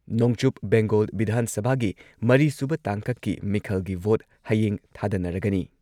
ꯅꯣꯡꯆꯨꯞ ꯕꯦꯡꯒꯣꯜ ꯚꯤꯙꯥꯟ ꯁꯚꯥꯒꯤ ꯃꯔꯤꯁꯨꯕ ꯇꯥꯡꯀꯛꯀꯤ ꯃꯤꯈꯜꯒꯤ ꯚꯣꯠ ꯍꯌꯦꯡ ꯊꯥꯗꯅꯔꯒꯅꯤ꯫